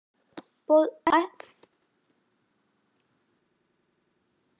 Bogi hefur áhuga á tónlist.